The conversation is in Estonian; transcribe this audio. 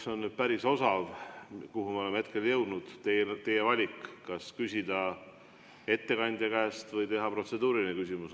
See on teist päris osav, kuhu me oleme jõudnud – teil on valida, kas küsida ettekandja käest või esitada protseduuriline küsimus.